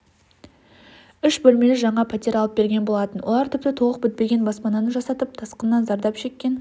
үш бөлмелі жаңа пәтер алып берген болатын олар тіпті толық бітпеген баспананыжасатып тасқыннан зардап шеккен